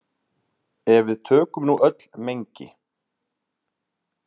Ef við tökum nú öll mengi.